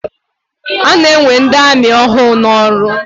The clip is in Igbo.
A na-ewe ndị amị ọhụụ n'ọrụ.